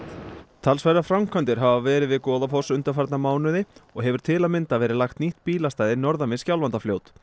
talsverðar framkvæmdir hafa verið við Goðafoss undanfarna mánuði og hefur til að mynda verið lagt nýtt bílastæði norðan við Skjálfandafljót